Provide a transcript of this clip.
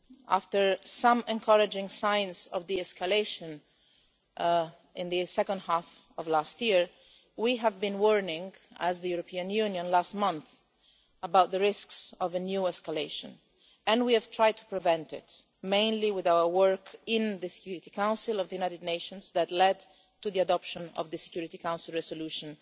After some encouraging signs of de escalation in the second half of last year, we have been warning, as the European Union last month, about the risks of a new escalation, and we have tried to prevent it, mainly with our work in the Security Council of the United Nations that led to the adoption of the Security Council Resolution